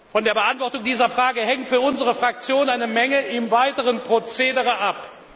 Von der Beantwortung dieser Frage hängt für unsere Fraktion eine Menge im weiteren Prozedere ab.